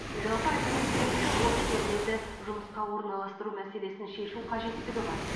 жалпы алимент бойынша борышкерлерді жұмысқа орналастыру мәселесін шешу қажеттігі бар